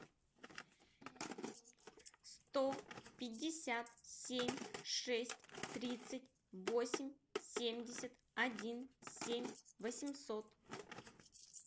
сто пятьдесят семь шесть тридцать восемь семьдесят один семь восемьсот